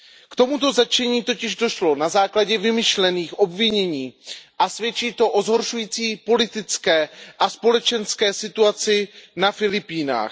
K tomuto zatčení totiž došlo na základě vymyšlených obvinění a svědčí to o zhoršující politické a společenské situaci na Filipínách.